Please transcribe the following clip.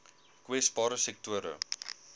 kwesbare sektore